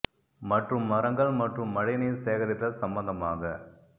மற்றும் மரங்கள் மற்றும் மழை நீர் சேகரித்தல் சம்பந்தமாக